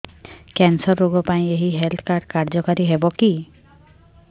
cancer ରୋଗ ପାଇଁ ଏଇ ହେଲ୍ଥ କାର୍ଡ କାର୍ଯ୍ୟକାରି ହେବ କି